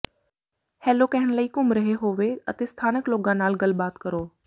hello ਕਹਿਣ ਲਈ ਘੁੰਮ ਰਹੇ ਹੋਵੋ ਅਤੇ ਸਥਾਨਕ ਲੋਕਾਂ ਨਾਲ ਗੱਲਬਾਤ ਕਰੋ